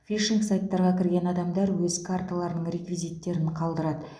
фишинг сайттарға кірген адамдар өз карталарының реквизиттерін қалдырады